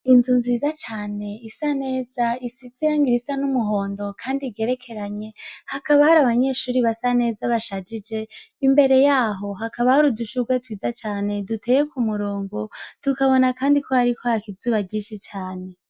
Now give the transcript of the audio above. Inzu nziza cane isa neza, isize irangi risa n'umuhondo kandi igerekeranye, hakaba hari abanyeshure basa neza bashajije, imbere yaho hakaba hari udushurwe twiza cane duteye k'umurongo, tukabona kandi ko hariko haraka izuba ryinshi cane.